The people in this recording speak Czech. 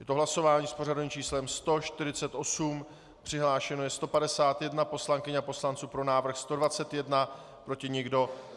Je to hlasování s pořadovým číslem 148, přihlášeno je 151 poslankyň a poslanců, pro návrh 121, proti nikdo.